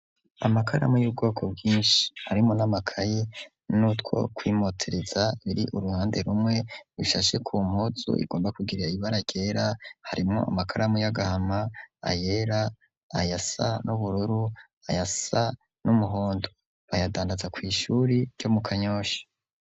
Amakaramu y'ubwoko bwinshi harimwo n'amakaye n'utwo kwimotereza biri uruhande rumwe, rishashe ku mpunzu igomba kugira ibara ryera, harimwo amakaramu y'agahama, ayera, ayasa n'ubururu, ayasa n'umuhondo. Bayadandaza kw'ishure ryo mu Kanyosha.